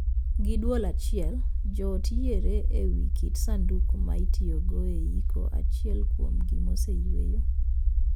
Gi duol achiel, joot yiere e wii kit sanduk ma itiyogo e iko achiel kuomgi moseyueyo.